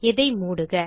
இதை மூடுக